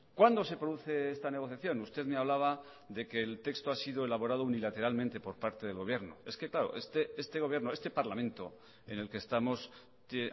cuándo se produce esta negociación usted me hablaba de que el texto ha sido elaborado unilateralmente por parte del gobierno es que claro este gobierno este parlamento en el que estamos que